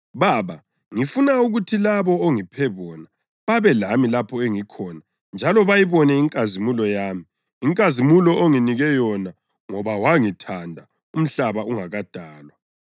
Baba, ngifuna ukuthi labo ongiphe bona babe lami lapho engikhona njalo bayibone inkazimulo yami, inkazimulo onginike yona ngoba wangithanda umhlaba ungakadalwa.